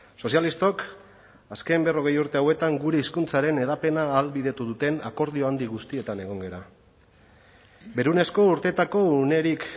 sozialistok azken berrogei urte hauetan gure hizkuntzaren hedapena ahalbidetu duten akordio handi guztietan egon gara berunezko urteetako unerik